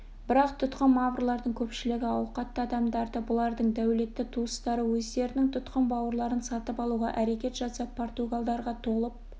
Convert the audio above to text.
бірақ тұтқын маврлардың көпшілігі ауқатты адамдарды бұлардың дәулетті туыстары өздерінің тұтқын бауырларын сатып алуға әрекет жасап португалдарға толып